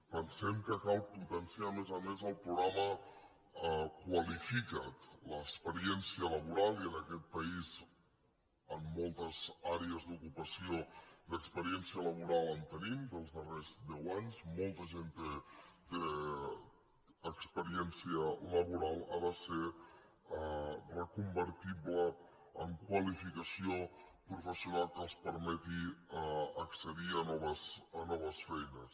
pensem que cal potenciar a més a més el programa qualifica’t l’experiència laboral i en aquest país en moltes àrees d’ocupació d’experiència laboral en tenim dels darrers deu anys molta gent té experièn cia laboral ha de ser reconvertible en qua·lificació professional que els permeti accedir a noves feines